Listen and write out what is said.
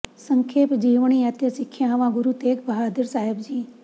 ਸੰਖੇਪ ਜੀਵਣੀ ਅਤੇ ਸਿੱਖਿਆਵਾਂ ਗੁਰੂ ਤੇਗ ਬਹਾਦਰ ਸਾਹਿਬ ਜੀ